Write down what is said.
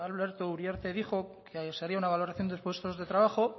uriarte dijo que se haría una valoración de puestos de trabajo